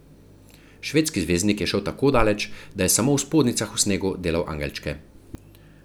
Švedski zvezdnik je šel tako daleč, da je samo v spodnjicah v snegu delal angelčke.